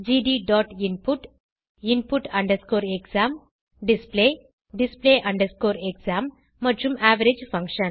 gdinput input exam display display exam மற்றும் average function